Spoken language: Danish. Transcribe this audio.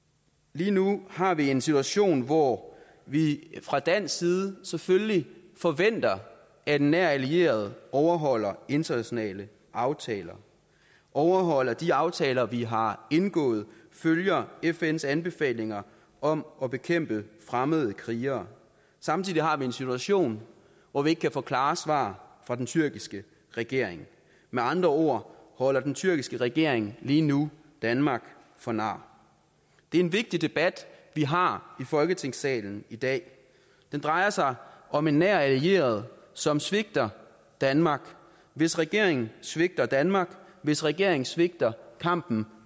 lige nu har vi en situation hvor vi fra dansk side selvfølgelig forventer at en nær allieret overholder internationale aftaler overholder de aftaler vi har indgået følger fns anbefalinger om at bekæmpe fremmede krigere samtidig har vi en situation hvor vi ikke kan få klare svar fra den tyrkiske regering med andre ord holder den tyrkiske regering lige nu danmark for nar det er en vigtig debat vi har i folketingssalen i dag den drejer sig om en nær allieret som svigter danmark hvis regering svigter danmark hvis regering svigter kampen